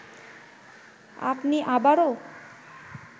আপনি আবারও